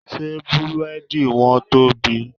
Ṣé Búrẹ́dì wọn tóbi?